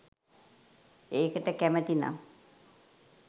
ඒකට කැමති නම්